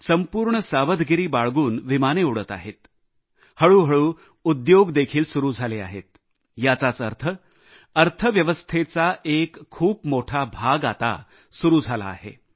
संपूर्ण सावधगिरी बाळगून विमाने सुरू आहेत हळूहळू उद्योग देखील सुरु झाले आहेत याचाच अर्थ अर्थव्यवस्थेचा एक खूप मोठा भाग आता सुरु झाला आहे